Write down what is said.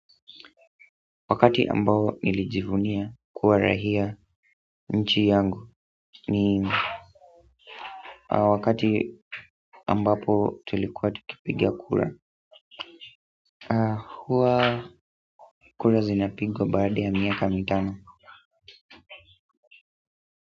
Wakati ambao nilijivunia kuwa raia nchi yangu ni wakati ambapo tulikuwa tukipiga kura huwa kura zinapigwa baada ya miaka mitano.